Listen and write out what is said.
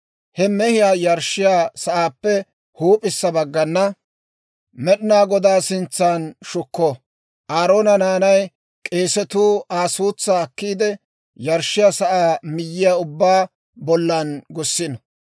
He mehiyaa yarshshiyaa sa'aappe huup'issa baggana Med'inaa Godaa sintsan shukko. Aaroona naanay k'eesatuu Aa suutsaa akkiide, yarshshiyaa sa'aa miyyiyaa ubbaa bollan gussino.